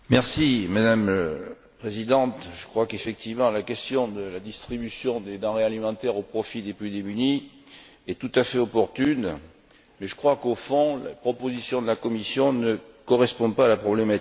Madame la Présidente, je crois qu'effectivement la question de la distribution des denrées alimentaires au profit des plus démunis est tout à fait opportune, mais je crois qu'au fond, la proposition de la Commission ne correspond pas à la problématique.